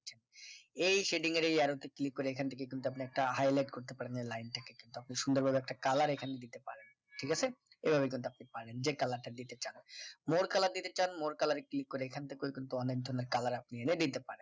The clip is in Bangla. এই setting এর এই arrow তে click করে এখান থেকে কিন্তু আপনি একটা highlight করতে পারেন এই লাইনটাকে তো আপনি সুন্দরভাবে একটা colour এইখানে দিতে পারেন ঠিক আছে এই ভাবে কিন্তু আপনি পারেন যে colour টা দিতে চান more colour দিতে চান more colour এ click করে এখন থেকে ও কিন্তু অনেক ধরণের colour আপনি এনে দিতে পারেন